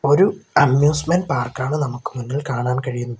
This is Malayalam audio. ഒരു അമ്യൂസ്മെൻ്റ് പാർക്കാണ് നമക്ക് മുന്നിൽ കാണാൻ കഴിയണ്ത്.